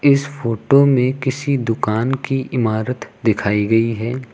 इस फोटो में किसी दुकान की इमारत दिखाई गई है।